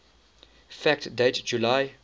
fact date july